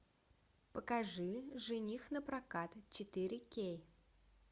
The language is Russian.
покажи жених напрокат четыре кей